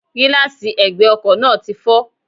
Gíláàsi ègbè ọkò náà ti fó